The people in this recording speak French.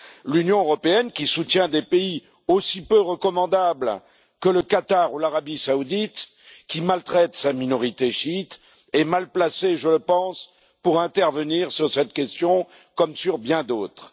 L'Union européenne, qui soutient des pays aussi peu recommandables que le Qatar ou l'Arabie saoudite, qui maltraite sa minorité chiite, est mal placée je le pense pour intervenir sur cette question, comme sur bien d'autres.